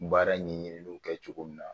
baara ɲininiw kɛ cogo min na